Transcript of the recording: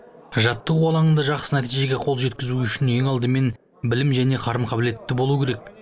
жаттығу алаңында жақсы нәтижеге қол жеткізу үшін ең алдымен білім және қарым қабілетті болуы керек